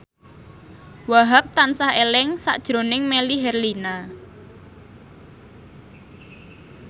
Wahhab tansah eling sakjroning Melly Herlina